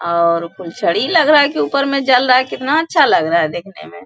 और फूलझड़ी लग रहा है की ऊपर में जल रहा है कितना अच्छा लग रहा है देखने में |